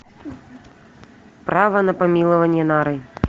право на помилование нарой